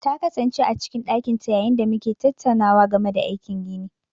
Ta kasance a cikin ɗakin ta yayin da muke tattaunawa game da aikin gini.